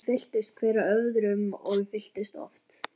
Mælarnir fylltust, hver af öðrum- og fylltust oft.